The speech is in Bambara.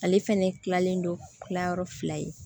Ale fɛnɛ kilalen don kilayɔrɔ fila ye